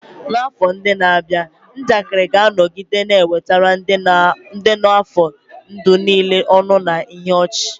N'afọ ndị na-abịa, njakịrị ga-anọgide na-ewetara ndị nọ n'afọ ndụ niile ọṅụ na ihe ọchị.